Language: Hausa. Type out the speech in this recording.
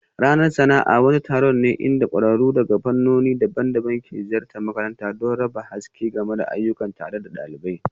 Ranar sana'a wani taron ne inda kwararru daga fannoni daban-daban ke ziyartar makarantar don raba haske game da ayyukansu tare da ɗalibai